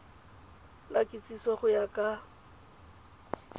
la kitsiso go ya ka